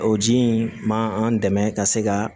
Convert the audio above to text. O ji in ma an dɛmɛ ka se ka